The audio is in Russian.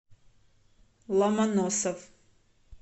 ломоносов